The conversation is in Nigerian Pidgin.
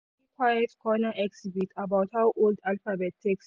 he see quiet corner exhibit about how old alphabet take start.